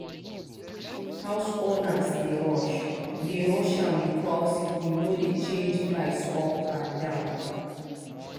house owners dey rush dey rush am because him no dey change price up and down.